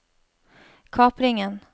kapringen